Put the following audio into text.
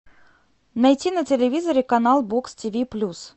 найти на телевизоре канал бокс тв плюс